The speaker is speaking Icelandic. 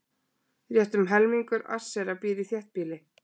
Rétt um helmingur Asera býr í þéttbýli.